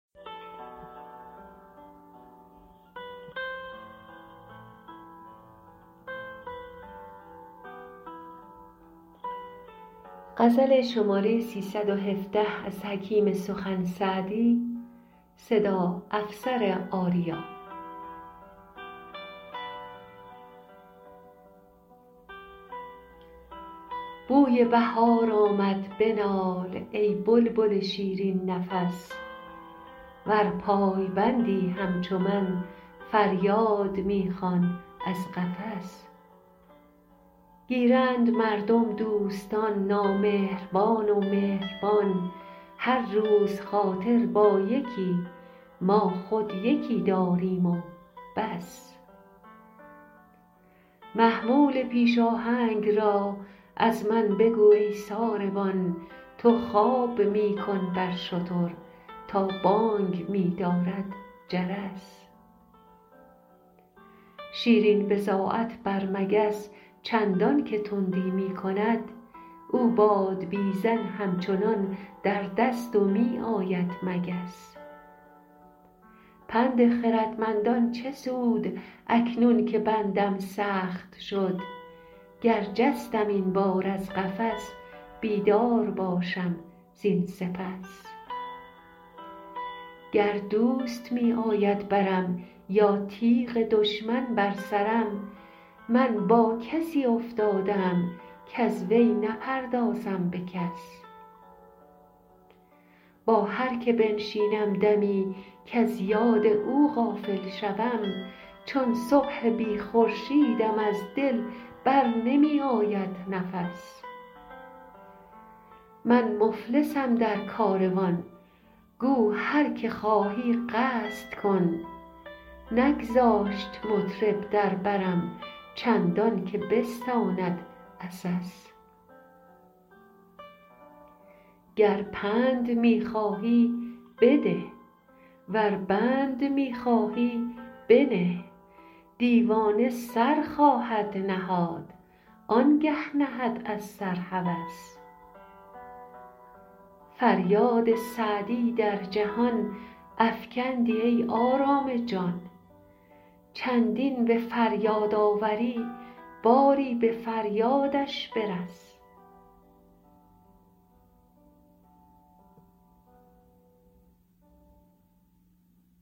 بوی بهار آمد بنال ای بلبل شیرین نفس ور پایبندی همچو من فریاد می خوان از قفس گیرند مردم دوستان نامهربان و مهربان هر روز خاطر با یکی ما خود یکی داریم و بس محمول پیش آهنگ را از من بگو ای ساربان تو خواب می کن بر شتر تا بانگ می دارد جرس شیرین بضاعت بر مگس چندان که تندی می کند او بادبیزن همچنان در دست و می آید مگس پند خردمندان چه سود اکنون که بندم سخت شد گر جستم این بار از قفس بیدار باشم زین سپس گر دوست می آید برم یا تیغ دشمن بر سرم من با کسی افتاده ام کز وی نپردازم به کس با هر که بنشینم دمی کز یاد او غافل شوم چون صبح بی خورشیدم از دل بر نمی آید نفس من مفلسم در کاروان گو هر که خواهی قصد کن نگذاشت مطرب در برم چندان که بستاند عسس گر پند می خواهی بده ور بند می خواهی بنه دیوانه سر خواهد نهاد آن گه نهد از سر هوس فریاد سعدی در جهان افکندی ای آرام جان چندین به فریاد آوری باری به فریادش برس